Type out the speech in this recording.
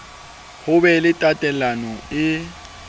ho be le tatelano e